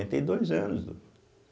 e dois anos.